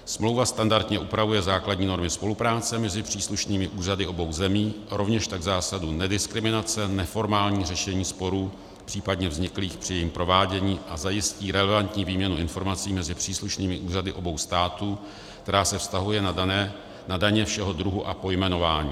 Smlouva standardně upravuje základní normy spolupráce mezi příslušnými úřady obou zemí, rovněž tak zásadu nediskriminace, neformální řešení sporů případně vzniklých při jejím provádění a zajistí relevantní výměnu informací mezi příslušnými úřady obou států, která se vztahuje na daně všeho druhu a pojmenování.